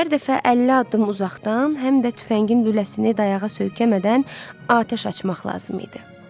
Hər dəfə 50 addım uzaqdan, həm də tüfəngin lüləsini dayağa söykəmədən atəş açmaq lazım idi.